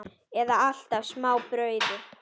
Eða alltaf smá brauði?